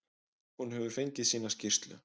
Hún hefur fengið sína skýrslu.